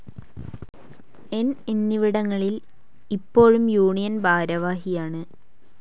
ന്‌ എന്നിവിടങ്ങളിൽ ഇപ്പോഴും യൂണിയൻ ഭാരവാഹിയാണ്.